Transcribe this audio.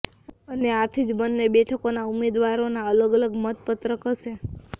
અને આથી જ બંને બેઠકોના ઉમેદવારોના અલગ અલગ મતપત્રક હશે